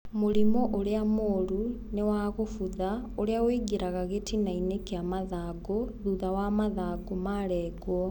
Mũrimũ ũrĩamũru ni wagũbutha ũria wĩingiraga gĩtinainĩ kia mathangũ thutha wa mathangũ marengwo.